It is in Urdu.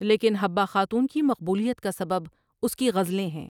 لیکن حبہ خاتون کی مقبولیت کا سبب اس کی غزلیں ہیں ۔